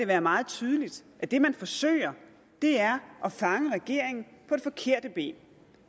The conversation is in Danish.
være meget tydeligt at det man forsøger er at fange regeringen på det forkerte ben